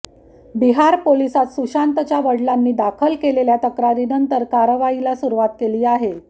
बिहार पोलीसांत सुशांतच्या वडिलांनी दाखल केलेल्या तक्रारीनंतर कारवाईला सुरुवात केली आहे